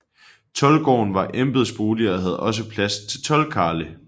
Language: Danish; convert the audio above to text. Toldgården var embedsbolig og havde også plads til toldkarle